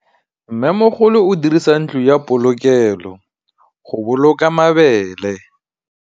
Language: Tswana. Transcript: Mmêmogolô o dirisa ntlo ya polokêlô, go boloka mabele.